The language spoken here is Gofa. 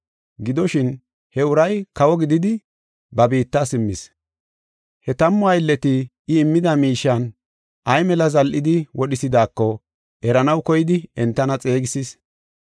“Gidoshin, he uray kawo gididi ba biitta simmis. He tammu aylleti I immida miishiyan ay mela zal7idi wodhisidaako eranaw koyidi entana xeegisis.